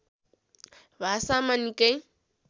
भाषामा निकै